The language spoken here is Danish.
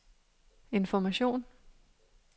information